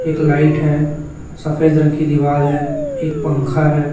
एक लाइट है सफेद रंग की दीवाल है एक पंखा है।